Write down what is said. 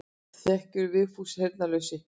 Þegiðu Vigfús heyrnarlausi.